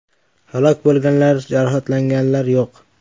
Halok bo‘lganlar, jarohatlanganlar yo‘q.